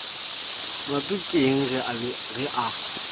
molato ke eng ge a